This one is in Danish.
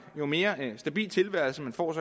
jo mere stabil en tilværelse man får